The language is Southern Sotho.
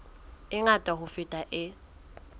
e ngata ho feta e